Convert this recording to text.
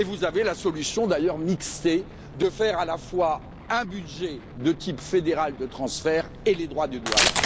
Et vous avez la solution, d'ailleurs mixée, de faire à la fois un budget de type fédéral de transfert et d'appliquer les droits de douane.